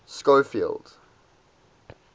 schofield